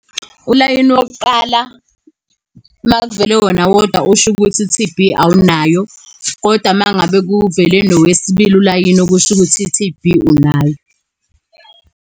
Ulayini wokuqala uma kuvele wona wodwa ushukuthi i-T_B awunayo, kodwa uma ngabe kuvele nowesibili ulayini, okusho ukuthi i-T_B unayo.